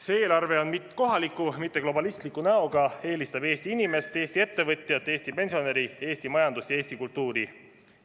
See eelarve on kohaliku, mitte globalistliku näoga, eelistab Eesti inimest, Eesti ettevõtjat, Eesti pensionäri, Eesti majandust ja Eesti kultuuri.